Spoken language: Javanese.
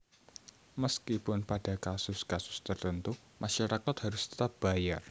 Meskipun pada kasus kasus tertentu masyarakat harus tetap bayar